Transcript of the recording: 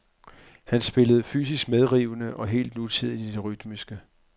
Han spillede fysisk medrivende og helt nutidigt i det rytmiske.